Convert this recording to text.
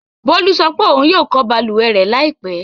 Bólú sọ pé ohun yóò ko balùwẹ̀ rẹ̀ láìpẹ́.